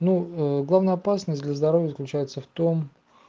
ну главная опасность для здоровья заключается в том